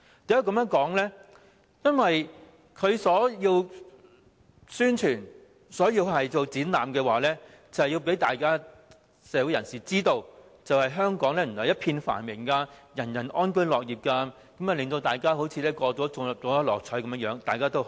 因為政府的宣傳和展覽是要讓社會人士知道原來香港一片繁榮，人人安居樂業，好像大家都中了六合彩般，全部高高興興。